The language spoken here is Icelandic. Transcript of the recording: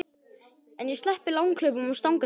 En ég sleppti langhlaupum og stangarstökki.